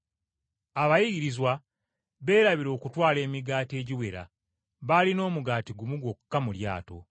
Abayigirizwa beerabira okutwala emigaati egiwera; baalina omugaati gumu gwokka mu lyato.